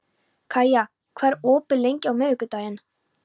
Kaía, hvað er opið lengi á miðvikudaginn?